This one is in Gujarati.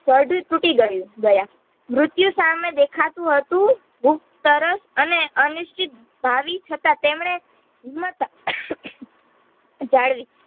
તૂટીગયું ગયા મૃત્યુ સામે દેખાતું હતું તરસ અને અનિશ્ચિત ભાવિ છતાં તેમણે હિંમત જાળવી